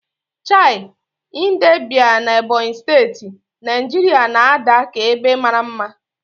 Chei, Idembia na Ebonyi Steti, Naijiria na-ada ka ebe mara mma.